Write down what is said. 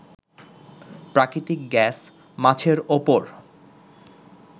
প্রাকৃতিক গ্যাস, মাছের উপর